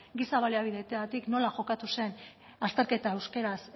giza baliabideetatik nola jokatu zen azterketa euskaraz